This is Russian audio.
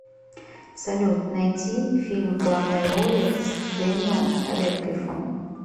салют найти фильм в главной роли с дэниом редклифом